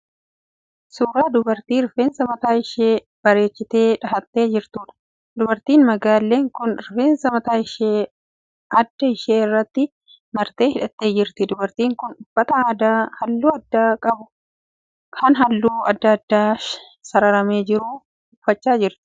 Suuraa dubartii rifeensa mataa ishee bareechitee dhahattee jirtuudha. Dubartiin magaallee kun rifeensa mataa ishee adda ishee irratti martee hidhattee jirti. Dubartiin kun uffata aadaa halluu adii qabu kan halluu adda addaan sararamee jiru uffachaa jirti.